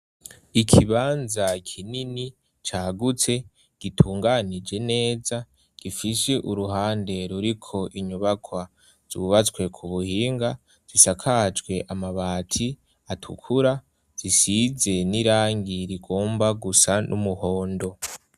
Ikibanza kinini cagutse gitunganije neza gifishe uruhande ruri ko inyubakwa zubatswe ku buhinga zisakajwe amabati atukura zisize n'irangir igomba gusa n'umuhondo.